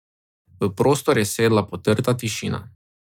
V prostor je sedla potrta tišina.